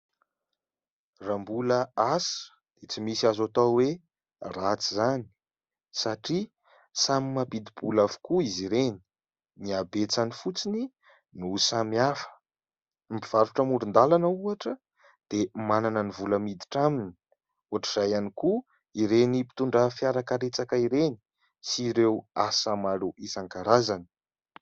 Raha mbola asa dia tsy misy azo atao hoe ratsy izany satria samy mampidi-bola avokoa izy ireny, ny abetsany fotsiny no samy hafa. Ny mpivarotra amoron-dalana ohatra dia manana ny vola miditra aminy, ohatr'izay ihany koa ireny mpitondra fiara karetsaka ireny sy ireo asa maro isan-karazany.